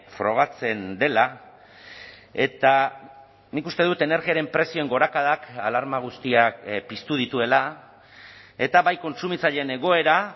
frogatzen dela eta nik uste dut energiaren prezioen gorakadak alarma guztiak piztu dituela eta bai kontsumitzaileen egoera